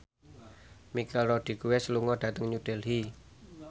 Michelle Rodriguez lunga dhateng New Delhi